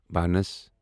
بانس